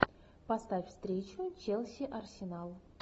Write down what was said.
поставь встречу челси арсенал